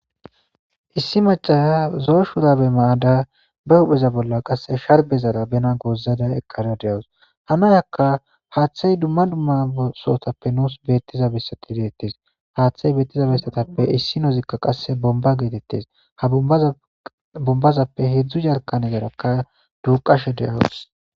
issi maca zo'o shurabe mayada bee huphpheza bolla qasse sharbezara bena goozada eqqara de'awus .haa nayakka haaththay dumma dumma nuus beetiza besati deettes haaththay beetiza bessatappe issinozikka qasse bomba geetettes .ha bombazappe hedzdzu jarkanezarakka duuqashe de'awus.